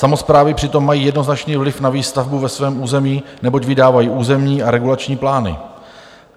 Samosprávy přitom mají jednoznačný vliv na výstavbu ve svém území, neboť vydávají územní a regulační plány.